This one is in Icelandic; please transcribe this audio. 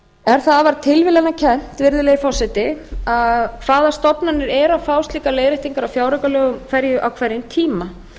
er það afar tilviljanakennt hvaða stofnanir eru að fá slíkar leiðréttingar á fjáraukalögum á hverjum tíma